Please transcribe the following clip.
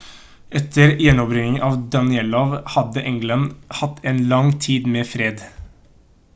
etter gjenerobringen av danelaw hadde england hatt en lang tid med fred